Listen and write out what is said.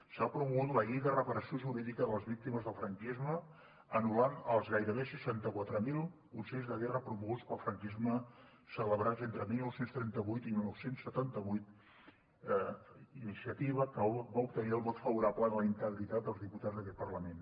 s’ha promogut la llei de reparació jurídica de les víctimes del franquisme i s’han anul·lat els gairebé seixanta quatre mil consells de guerra promoguts pel franquisme celebrats entre dinou trenta vuit i dinou setanta vuit iniciativa que va obtenir el vot favorable de la integritat dels diputats d’aquest parlament